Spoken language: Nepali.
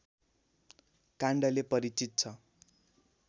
काण्डले परिचित छ